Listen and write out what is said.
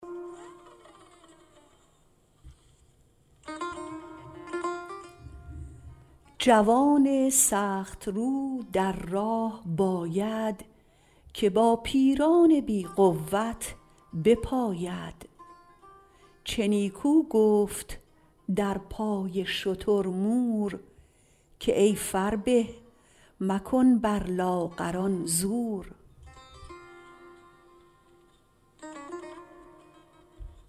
جوان سخت رو در راه باید که با پیران بی قوت بپاید چه نیکو گفت در پای شتر مور که ای فربه مکن بر لاغران زور